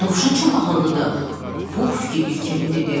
"Dovşan çox ağıllıdır," Pux fikirli-fikirli dedi.